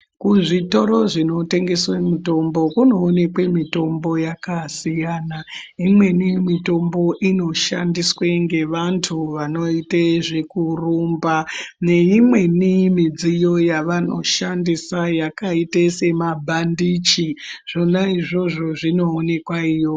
Kuzvitoro zvinotengeswe mitombo kunoonekwe mitombo yakasiyana, imweni mitombo inoshandiswe ngevantu vanoite zvekurumba, neimweni midyiyo yavanoshandisa yakaite semabhandichi, zvona izvozvo zvinoonekwa iyoyo.